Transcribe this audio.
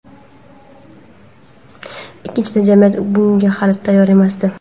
Ikkinchidan, jamiyat bunga hali tayyor emasdi.